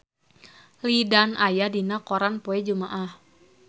Lin Dan aya dina koran poe Jumaah